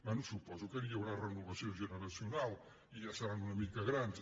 bé suposo que hi haurà renovació generacional i ja seran una mica grans